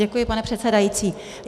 Děkuji, pane předsedající.